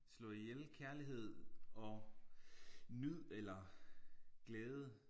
Slå ihjel kærlighed og nyd eller glæde